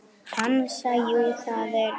Hansa: Jú, það er rétt.